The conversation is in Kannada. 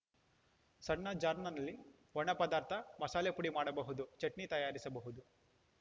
ಸಣ್ಣ ಜಾರ್‌ನಲ್ಲಿ ಒಣ ಪದಾರ್ಥ ಮಸಾಲೆ ಪುಡಿ ಮಾಡಬಹುದು ಚಟ್ನಿ ತಯಾರಿಸಬಹುದು